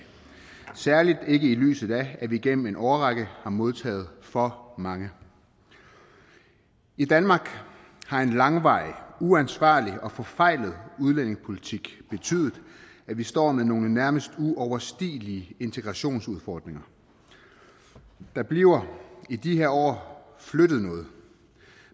særlig ikke i lyset af at vi igennem en årrække har modtaget for mange i danmark har en langvarig uansvarlig og forfejlet udlændingepolitik betydet at vi står med nogle nærmest uoverstigelige integrationsudfordringer der bliver i de her år flyttet noget